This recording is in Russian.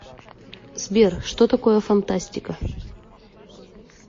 сбер что такое фантастика